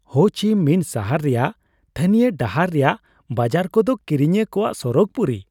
Ho Chi Minh ᱥᱟᱦᱟᱨ ᱨᱮᱭᱟᱜ ᱛᱷᱟᱱᱤᱭᱚ ᱰᱟᱦᱟᱨ ᱨᱮᱭᱟᱜ ᱵᱟᱡᱟᱨ ᱠᱚᱫᱚ ᱠᱤᱨᱤᱧᱤᱭᱟᱹ ᱠᱚᱣᱟᱜ ᱥᱚᱨᱚᱜᱽ ᱯᱩᱨᱤ ᱾